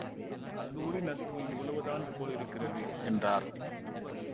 கல்லூரி நட்பு இவ்வளவுதான் போல் இருக்கிறது என்றார்